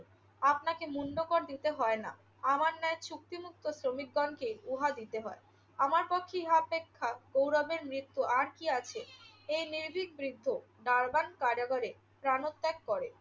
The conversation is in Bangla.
আপনাকে মুণ্ডকর দিতে হয় না। আমার ন্যায় চুক্তিমুক্ত শ্রমিকগণকে উহা দিতে হয়। আমার পক্ষে ইহা অপেক্ষা গৌরবের মৃত্যু আর কি আছে? এই নির্ভীক বৃদ্ধ ডারবান কারাগারে প্রাণত্যাগ করে।